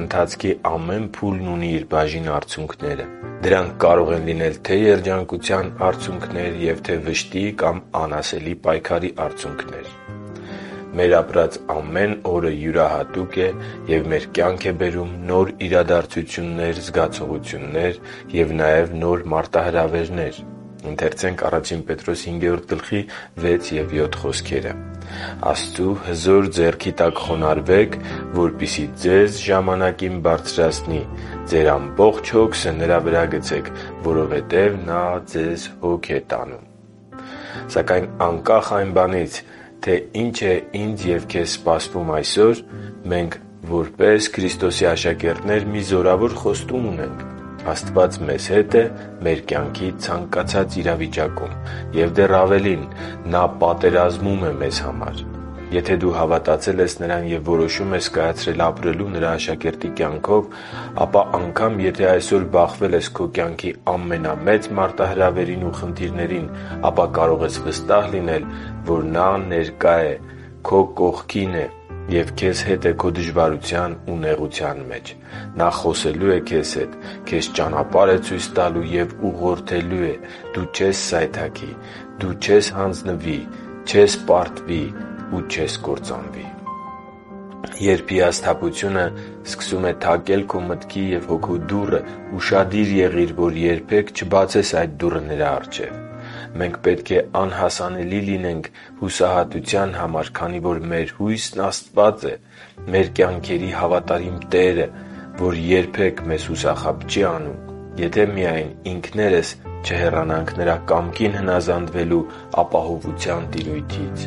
քո ընթացքի ամեն փուլն ունի իր բաժին արցունքները։ Դրանք կարող են լինել թե՛ երջանկության արցունքներ, և թե՛ վշտի կամ անասելի պայքարի արցունքներ։ Մեր ապրած ամեն օրը յուրահատուկ է, և մեր կյանք է բերում նոր իրադարձություններ, զգացողություններ և նաև նոր մարտահրավերներ։ «Աստծու հզոր ձեռքի տակ խոնարհվե՛ք, որպեսզի ձեզ ժամանակին բարձրացնի։ Ձեր ամբողջ հոգսը Նրա վրա՛ գցեք, որովհետև Նա ձեզ հոգ է տանում» (Ա Պետրոս 5.6-7): Սակայն անկախ այն բանից, թե ինչ է ինձ և քեզ սպասվում այսօր, մենք որպես Քրիստոսի աշակերտներ մի զորավոր խոստում ունենք․ Աստված մեզ հետ է մեր կյանքի ցանկացած իրավիճակում: Եվ դեռ ավելին՝ Նա պատերազմում է մեզ համար։ Եթե դու հավատացել ես Նրան և որոշում ես կայացրել ապրելու Նրա աշակերտի կյանքով, ապա անգամ եթե այսօր բախվել ես քո կյանքի ամենամեծ մարտահրավերին ու խնդիրներին, ապա կարող ես վստահ լինել, որ Նա ներկա է, քո կողքին է և քեզ հետ է քո դժվարության ու նեղության մեջ։ Նա խոսելու է քեզ հետ, քեզ ճանապարհ է ցույց տալու և ուղղորդելու է։ Դու չես սայթաքի։ Դու չես հանձվնի, չես պարտվի ու չես կործանվի։ Երբ հիասթափությունը սկսում է թակել քո մտքի և հոգու դուռը, ուշադիր եղի՛ր, որ երբեք չբացես այդ դուռը նրա առջև։ Մենք պետք է անհասանելի լինենք հուսահատության համար, քանի որ մեր հույսն Աստված է՝ մեր կյանքերի հավատարիմ Տերը, Ով երբեք մեզ հուսախաբ չի անում, եթե միայն մենք ինքներս չհեռանանք Նրա կամքին հնազանդվելու ապահովության տիրույթից։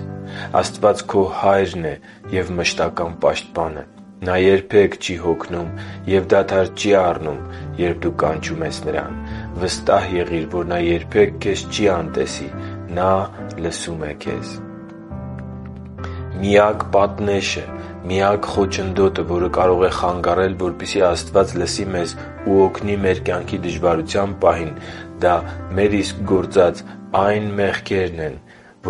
Աստված քո Հայրն է և մշտական պաշտպանը։ Նա երբեք չի հոգնում ու դադար չի առնում։ Երբ դու կանչում ես Նրան, վստահ եղի՛ր, որ նա երբեք քեզ չի անտեսի։ Նա լսում է քեզ։ Միակ պատնեշը․․․ միակ խոչընդոտը, որը կարող է խանգարել, որպեսզի Աստված լսի մեզ ու օգնի մեր կյանքի դժվարության պահին, դա մեր իսկ գործած այն մեղքերն են,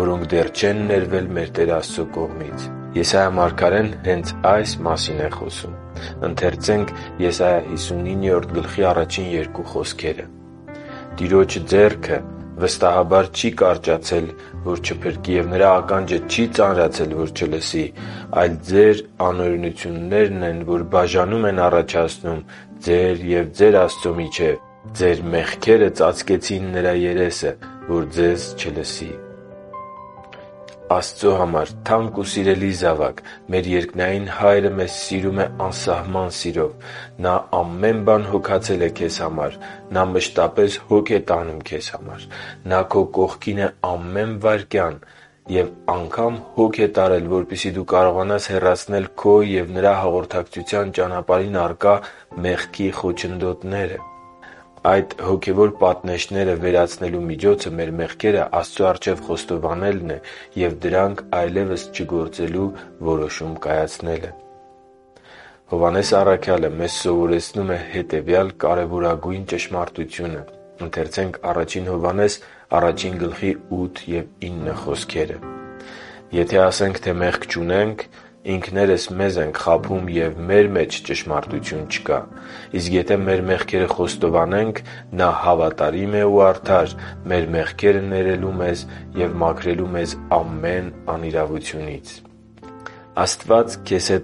որոնք դեռ չեն ներվել մեր Տեր Աստծո կողմից։ Եսայիա մարգարեն հենց այս մասին է խոսում․ «Տիրոջ ձեռքը վստահաբար չի կարճացել, որ չփրկի, և Նրա ականջը չի ծանրացել, որ չլսի, այլ ձեր անօրենություններն են, որ բաժանում են առաջացնում ձեր և ձեր Աստծու միջև. ձեր մեղքերը ծածկեցին Նրա երեսը ձեզնից, որ ձեզ չլսի» (Եսայիա 59․1-2): Աստծո համար թանկ ու սիրելի զավա՛կ, մեր երկնային Հայրը մեզ սիրում է անսահման սիրով։ Նա ամեն բան հոգացել է քեզ համար։ Նա մշտապես հոգ է տանում քեզ համար։ Նա քո կողքին է ամեն վայրկյան։ Եվ անգամ հոգ է տարել, որպեսզի դու կարողանաս հեռացնել քո և Նրա հաղորդակցության ճանապարհին ակռա մեղքի խոչընդոտները։ Այդ հոգևոր պատնեշները վերացնելու միջոցը մեր մեղքերը Աստծո առջև խոստովանելու և դրանք այլևս չգործելու որոշում կայացնելն է։ Հովհաննես առաքյալը մեզ սովորեցնում է հետևյալ կարևորագույն ճշմարտությունը․ «Եթե ասենք, թե մեղք չունենք, ինքներս մեզ ենք խաբում, և մեր մեջ ճշմարտություն չկա։ Իսկ եթե մեր մեղքերը խոստովանենք, նա հավատարիմ է ու արդար՝ մեր մեղքերը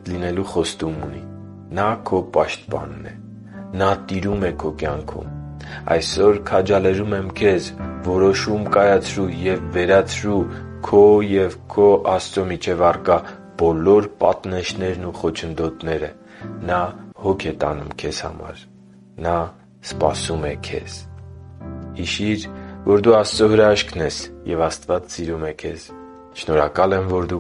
ներելու մեզ և մաքրելու մեզ ամեն անիրավությունից» (Ա Հովհաննես 1․8-9): Աստված քեզ հետ լինելու խոստում ունի։ Նա քո Պաշտպանն է։ Նա տիրում է քո կյանքում։ Այսօր քաջալերում եմ քեզ՝ որոշում կայացրու և վերացրու քո և քո Աստծո միջև առկա բոլոր պատնեշներն ու խոչընդոտները։ Նա հոգ է տանում քեզ համար։ Նա սպասում է քեզ․․․ Հիշի՛ր, որ դու Աստծո հրաշքն ես, և Աստված սիրում է քեզ։ Շնորհակալ եմ, որ դու